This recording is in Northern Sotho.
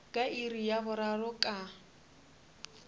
ka iri ya boraro ka